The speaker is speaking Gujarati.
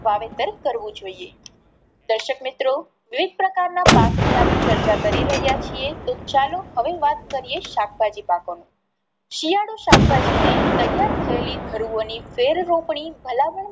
વાવેતર કરવું જોઈએ. દર્શક મિત્રો વિવિધ પ્રકાર ના પાક ની આપણે ચર્ચા કરી રહ્યા છીએ તો ચાલો હવે વાત કરીએ શાકભાજી પાકો ની. શિયાળુ શાકભાજી ને તૈયાર થયેલી ધરુઓ ની ફેર રોપણી ભલામણ